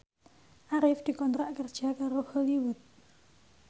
Arif dikontrak kerja karo Hollywood